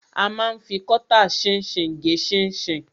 A ma ń fi kọ́tà ṣinṣin gé ṣinṣin.